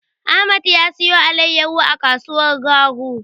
Ahmad ya siyo alaiyahu a kasuwar Garu.